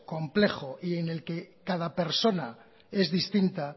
complejo y en el que cada persona es distinta